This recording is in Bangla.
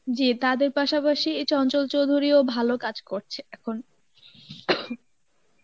জী তাদের পাশাপাশি এই চঞ্চল চৌধুরীও ভালো কাজ করছে এখন